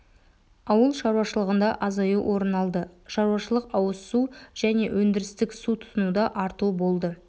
ауыл шаруашылығында азаю орын алды шаруашылықауыз су және өндірістік су тұтынуда арту болды